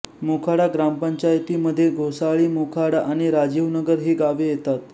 मोखाडा ग्रामपंचायतीमध्ये घोसाळीमोखाडा आणि राजीवनगर ही गावे येतात